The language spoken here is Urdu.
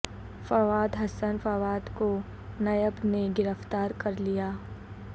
فواد حسن فواد کو نیب نے گرفتار کر لیا